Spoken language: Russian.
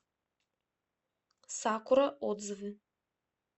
сакура отзывы